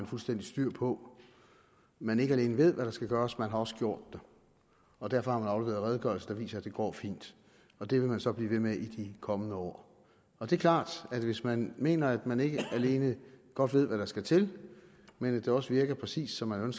fuldstændig styr på man ikke alene ved hvad der skal gøres man har også gjort det og derfor har man afleveret redegørelser der viser at det går fint det vil man så blive ved med i de kommende år det er klart at hvis man mener at man ikke alene godt ved hvad der skal til men også virker præcis som man